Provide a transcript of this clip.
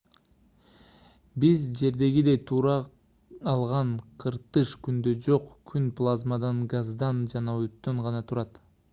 биз жердегидей тура алган кыртыш күндө жок күн плазмадан газдан жана оттон гана турат